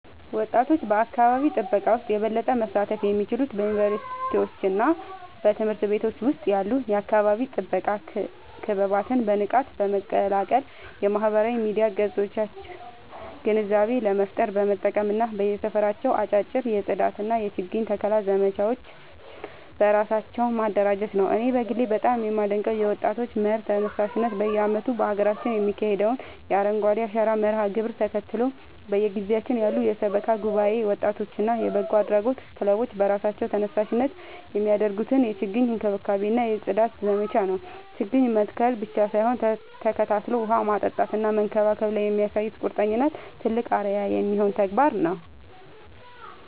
ወጣቶች በአካባቢ ጥበቃ ውስጥ የበለጠ መሳተፍ የሚችሉት በዩኒቨርሲቲዎችና በትምህርት ቤቶች ውስጥ ያሉ የአካባቢ ጥበቃ ክበባትን በንቃት በመቀላቀል፣ የማህበራዊ ሚዲያ ገጾቻቸውን ግንዛቤ ለመፍጠር በመጠቀም እና በየሰፈራቸው አጫጭር የጽዳትና የችግኝ ተከላ ዘመቻዎችን በራሳቸው በማደራጀት ነው። እኔ በግሌ በጣም የማደንቀው የወጣቶች መር ተነሳሽነት በየዓመቱ በሀገራችን የሚካሄደውን የአረንጓዴ አሻራ መርሃ ግብርን ተከትሎ፣ በየግቢያችን ያሉ የሰበካ ጉባኤ ወጣቶችና የበጎ አድራጎት ክለቦች በራሳቸው ተነሳሽነት የሚያደርጉትን የችግኝ እንክብካቤና የጽዳት ዘመቻ ነው። ችግኝ መትከል ብቻ ሳይሆን ተከታትሎ ውሃ ማጠጣትና መንከባከብ ላይ የሚያሳዩት ቁርጠኝነት ትልቅ አርአያ የሚሆን ተግባር ነው።